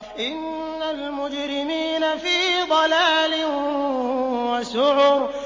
إِنَّ الْمُجْرِمِينَ فِي ضَلَالٍ وَسُعُرٍ